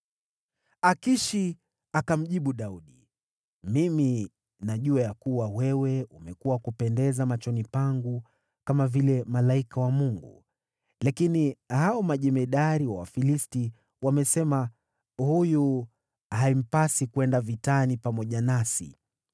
Akishi akamjibu Daudi, “Mimi ninajua ya kuwa wewe umekuwa wa kupendeza machoni pangu kama vile malaika wa Mungu. Lakini hao majemadari wa Wafilisti wamesema, ‘Huyu haimpasi kwenda vitani pamoja nasi.’